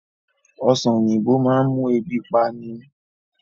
Ọ̀sán oyinbo máa ń mú ebi pani